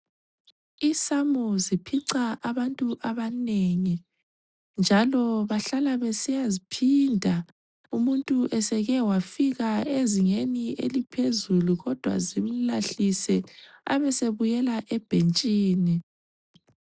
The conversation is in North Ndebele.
Isamu ziphica abantu abanengi njalo bahlala besiyaziphinda umuntu eseke wafika ezingeni eliphezulu kodwa zimlahlise abe esebuyela ebhentshini.